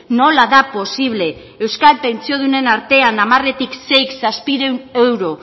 nola da posible euskal pentsiodunen artean hamarretik seik zazpiehun euro